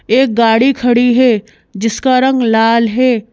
एक गाड़ी खड़ी है जिसका रंग लाल है।